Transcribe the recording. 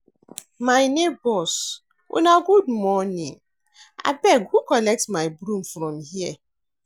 My nebors una good morning, abeg who collect my broom from here.